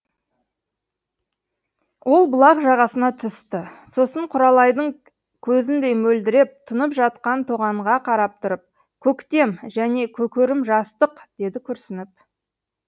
ол бұлақ жағасына түсті сосын құралайдың көзіндей мөлдіреп тұнып жатқан тоғанға қарап тұрып көктем және көкөрім жастық деді күрсініп